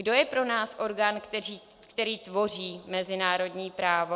Kdo je pro nás orgán, který tvoří mezinárodní právo?